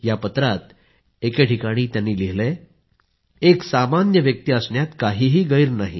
या पत्रात एके ठिकाणी त्यांनी लिहिलं आहेएक सामान्य व्यक्ती असण्यात काहीही गैर नाही